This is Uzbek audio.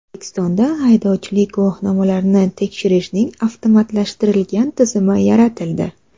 O‘zbekistonda haydovchilik guvohnomalarini tekshirishning avtomatlashtirilgan tizimi yaratildi.